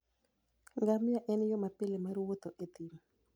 Ngamia en yo mapile mar wuotho e thim.